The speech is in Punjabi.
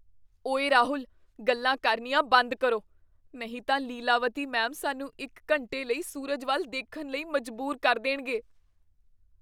ਓਏ ਰਾਹੁਲ! ਗੱਲਾਂ ਕਰਨੀਆਂ ਬੰਦ ਕਰੋ, ਨਹੀਂ ਤਾਂ ਲੀਲਾਵਤੀ ਮੈਮ ਸਾਨੂੰ ਇੱਕ ਘੰਟੇ ਲਈ ਸੂਰਜ ਵੱਲ ਦੇਖਣ ਲਈ ਮਜਬੂਰ ਕਰ ਦੇਣਗੇ।